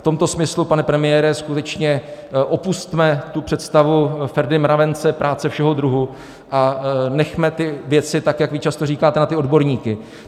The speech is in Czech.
V tomto smyslu, pane premiére, skutečně opusťme tu představu Ferdy Mravence - práce všeho druhu a nechme ty věci, tak jak vy často říkáte, na ty odborníky.